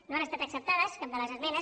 no han estat acceptades cap de les esmenes